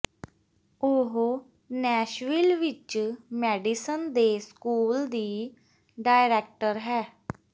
ਉਹ ਨੈਸ਼ਵਿਲ ਵਿੱਚ ਮੈਡੀਸਨ ਦੇ ਸਕੂਲ ਦੀ ਡਾਇਰੈਕਟਰ ਹੈ